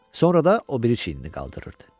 Sonra da o biri çiyinini qaldırdı.